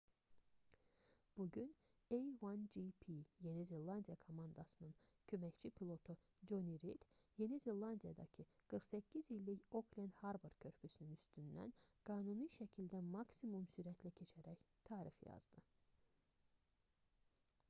bu gün a1gp yeni zelandiya komandasının köməkçi pilotu coni rid yeni zelandiyadakı 48 illik oklend harbor körpüsünün üstündən qanuni şəkildə maksimum sürətlə keçərək tarix yazdı